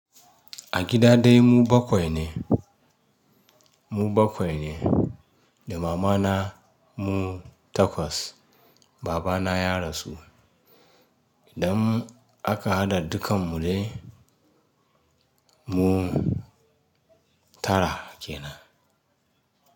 A gida dai mu bakwai ne, mu bakwai ne da mama na mu takwas. Baba na ya rasu. Idan aka haɗa dukkan mu dai mu tara kenan.